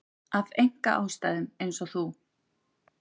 Af einkaástæðum eins og þú.